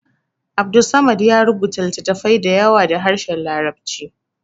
Abdulsamad ya rubuta littafai da yawa da harshen larabci